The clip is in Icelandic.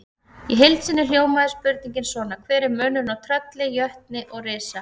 Í heild sinni hljómaði spurningin svona: Hver er munurinn á trölli, jötni og risa?